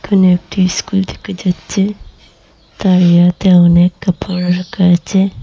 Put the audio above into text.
এখানে একটি স্কুল থেকে যাচ্ছে তারিয়াতে অনেক কাপড় রাখা আছে।